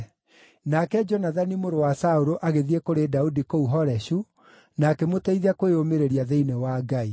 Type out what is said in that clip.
Nake Jonathani mũrũ wa Saũlũ agĩthiĩ kũrĩ Daudi kũu Horeshu na akĩmũteithia kwĩyũmĩrĩria thĩinĩ wa Ngai.